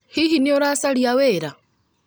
Hihi nĩ ũracaria wĩra?